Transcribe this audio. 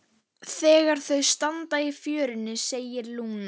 Þegar þau standa í fjörunni segir Lúna